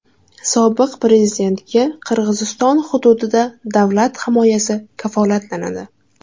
Sobiq prezidentga Qirg‘iziston hududida davlat himoyasi kafolatlanadi.